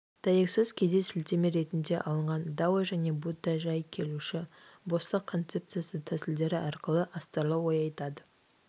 дәйексөз кейде сілтеме ретінде алынған дао және будда жай келуші бостық концепциясы тәмсілдері арқылы астарлы ой айтады